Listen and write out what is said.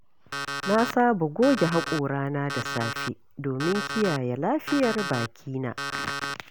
Na saba goge haƙorana da safe domin kiyaye lafiyar bakina.